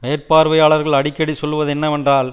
மேற்பார்வையாளகள் அடிக்கடி சொல்வது என்னவென்றால்